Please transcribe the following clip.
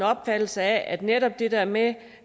opfattelse at netop det der med